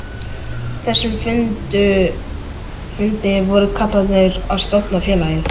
þessum fundi voru kallarnir að stofna félagið.